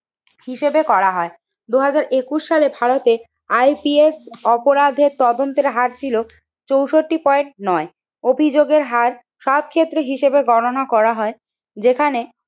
হিসেবে করা হয় দুই হাজার একুশ সালে ভারতে ICS অপরাধের তদন্তের হারছিল চৌষট্টি পয়েন্ট নয়। অভিযোগের হার সব ক্ষেত্রে হিসেবে গণনা করা হয় যেখানে,